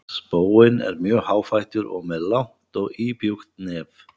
Spóinn er mjög háfættur og með langt og íbjúgt nef.